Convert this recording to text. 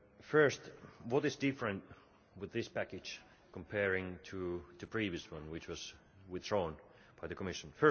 First, what is different with this package compared to the previous one, which was withdrawn by the Commission?